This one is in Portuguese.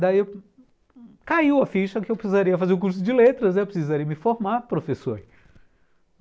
Daí caiu a ficha que eu precisaria fazer o curso de letras, eu precisaria me formar professor.